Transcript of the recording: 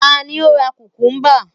ta ni o ra kukumba